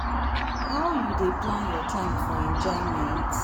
how you dey plan your time for enjoyment?